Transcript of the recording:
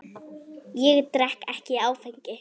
Ég drekk ekki áfengi.